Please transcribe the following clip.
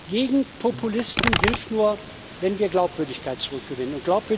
Gegen Populisten hilft nur, wenn wir Glaubwürdigkeit zurückgewinnen.